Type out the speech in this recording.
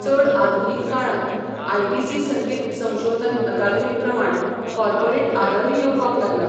चड आधुनीक काळांत, आयटीसी संगीत संशोधन अकादेमी प्रमाण, कॉर्पोरेट आदारूय येवपाक लागला.